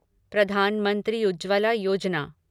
Pradhan Mantri Ujjwala Yojana